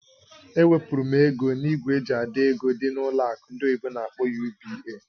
Ewepụrụ m ego na ìgwè eji àdọ́ ego dị na ụlọ akụ ndị oyibo n'akpọ "UBA".